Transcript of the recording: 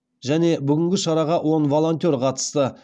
және бүгінгі шараға он волонтер қатысты